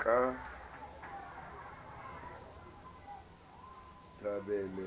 ke thabele